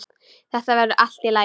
Þetta verður í lagi.